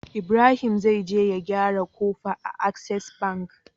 Ibrahim zai je ya gyara kofa a access bank